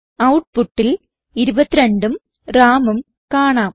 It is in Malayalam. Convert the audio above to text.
ഔട്ട്പുട്ടിൽ 22ഉം Ramഉം കാണാം